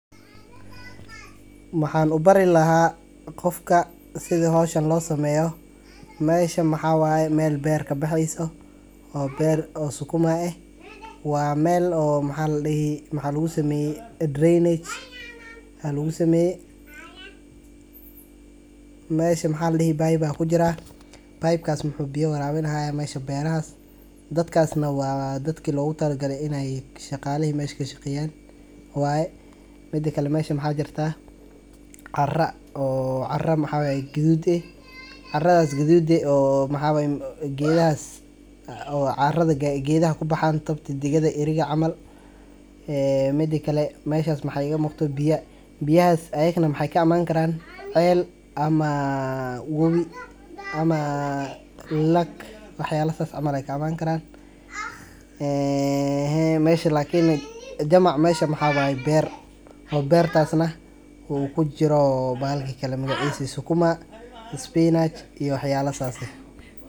Maahan u barri lahaa qofka sidii hawsha loo sameeyo. Meyshii maxawaa ay meel beerka bixiso oo beer oo sukuma ah waa meel oo ma xall dhihi maxaa lagu sameeyey drainage xallu samay. Mee shi ma xall dhihi baayba aye ku jira. Baaybkaas muuxub biyo raab in ahey mayshi beerahaas. Dadkaasna waa dadka loogu talgalay in ay shaqaalee, meeshu ka shaqeeyaan waaye midhakale meesha maxaa jirta. Carra oo carra maxaa guduud eh carradaas guduud eh. Oo maxaa geeddaas caarrada ga-geedda ku baxaan tabtidin degmada iriga camaal ee midhakale . Mayshaas maxayga mugtay biya. Biyaas ayekna mexay ka imaan karaan ceel ama wobi ama laag. Waxyaalasas ama la ka ammaan karaan. Eehay maysha lakiina jamac maysha maxaa beera oo beertaasna uu ku jiro baalki kala magaciisa sukuma spinach iyo waxyaalla saas eh.